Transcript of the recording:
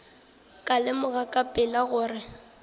ka lemoga ka pela gore